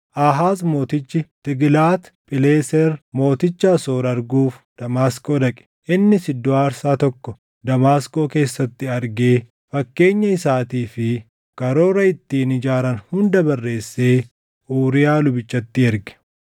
Aahaaz mootichi Tiiglaat Phileeser mooticha Asoor arguuf Damaasqoo dhaqe. Innis iddoo aarsaa tokko Damaasqoo keessatti argee fakkeenya isaatii fi karoora ittiin ijaaran hunda barreessee Uuriyaa lubichatti erge.